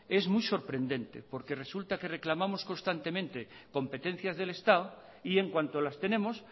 es muy sorprendente porque resulta que reclamamos constantemente competencias del estado y en cuanto las tenemos